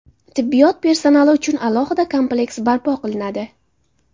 Tibbiyot personali uchun alohida kompleks barpo qilinadi.